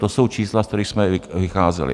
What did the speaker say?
To jsou čísla, z kterých jsme vycházeli.